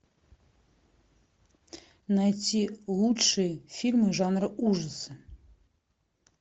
найти лучшие фильмы жанра ужасы